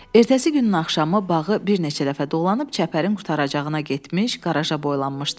Ertəsi günün axşamı bağı bir neçə dəfə dolanıb çəpərin qurtaracağına getmiş, qaraja boylanmışdım.